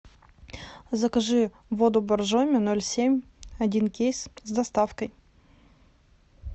закажи воду боржоми ноль семь один кейс с доставкой